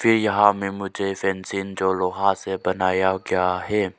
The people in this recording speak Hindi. ये यहां में मुझे फेंसिंग जो लोहा से बनाया गया है।